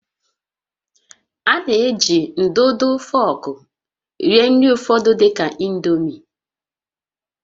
A na-eji ndụdụ fọọkụ rie nri ụfọdụ dị ka indomie